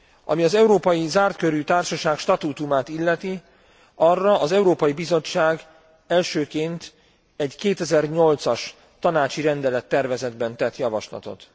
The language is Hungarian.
Ami az európai zártkörű társaság statútumát illeti, arra az Európai Bizottság elsőként egy 2008 as tanácsi rendelettervezetben tett javaslatot.